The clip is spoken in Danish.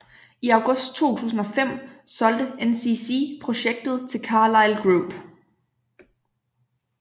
I august 2005 solgte NCC projektet til Carlyle Group